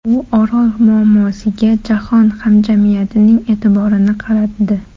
U Orol muammosiga jahon hamjamiyatining e’tiborini qaratdi.